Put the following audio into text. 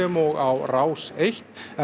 og á Rás einn en